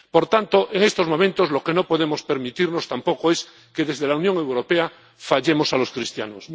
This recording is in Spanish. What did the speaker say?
Por tanto, en estos momentos, lo que no podemos permitirnos tampoco es que desde la Unión Europea fallemos a los cristianos.